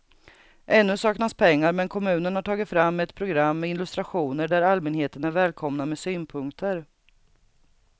Ännu saknas pengar men kommunen har tagit fram ett program med illustrationer där allmänheten är välkomna med synpunkter.